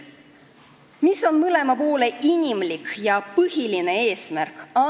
Mis on mõlema poole inimlik ja põhiline eesmärk?